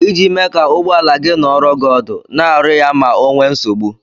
Iji mee ka ụgbọala gị nọrọ gị ọdụ, na-arụ ya ma ọ nwee nsogbu.